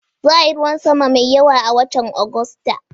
Za'a yi ruwan sama mai yawa a watan Agusta